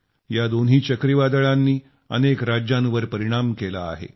या दोन्ही चक्रीवादळांनी अनेक राज्यांवर परिणाम केला आहे